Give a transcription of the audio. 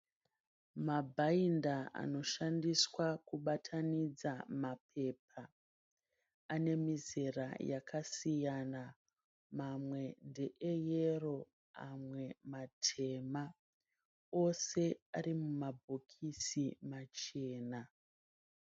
Mabhainda anoshandiswa kubatanidza mapepa ane mizera yakasiyana. Mamwe ndeeyero amwe matema. Ose ari mumabhokisi machena.